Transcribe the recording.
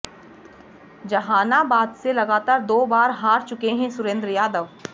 जहानाबाद से लगातार दो बार हार चुके हैं सुरेंद्र यादव